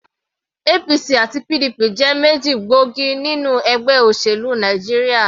APC àti PDP jẹ́ méjì gbóògì nínú ẹgbẹ́ òṣèlú Nàìjíríà.